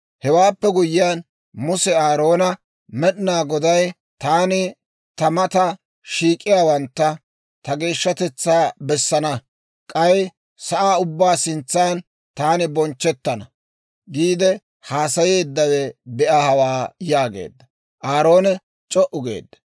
Hewaappe guyyiyaan, Muse Aaroona, «Med'inaa Goday, « ‹Taani ta mata shiik'iyaawantta ta geeshshatetsaa bessana. K'ay asaa ubbaa sintsan taani bonchchettana› » giide haasayeeddawe be'a hawaa yaageedda. Aaroon c'o"u geedda.